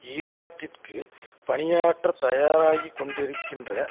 ஈராக்கிற்கு பணியாற்ற தயாராகி கொண்டிருக்கின்ற